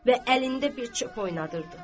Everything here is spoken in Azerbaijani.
Və əlində bir çöp oynadırdı.